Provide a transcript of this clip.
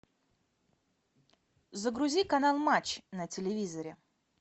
загрузи канал матч на телевизоре